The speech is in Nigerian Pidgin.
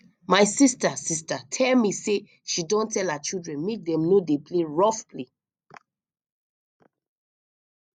my sister sister tell me say she don tell her children make dem no dey play rough play